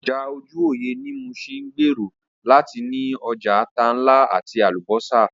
Ọjà ojúwòyẹ̀ ní Muṣin ń gbèrò láti ní ọjà ata ńlá àti Àlùbọ́sà